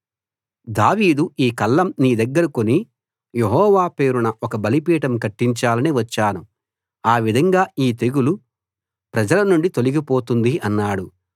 దావీదు ఈ కళ్ళం నీ దగ్గర కొని యెహోవా పేరున ఒక బలిపీఠం కట్టించాలని వచ్చాను అ విధంగా ఈ తెగులు ప్రజలనుండి తొలిగి పోతుంది అన్నాడు